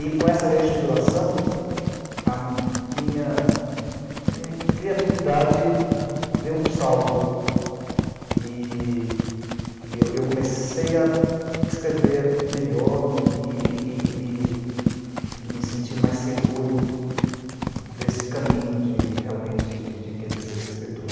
E com essa reestruturação, a minha minha criatividade deu um salto e e eu eu comecei a escrever melhor e e e e e e me sentir mais seguro desse caminho de de realmente de de querer ser escritor.